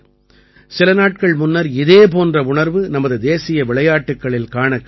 சில நாட்கள் முன்னர் இதே போன்ற உணர்வு நமது தேசிய விளையாட்டுக்களில் காணக் கிடைத்தது